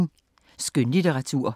Skønlitteratur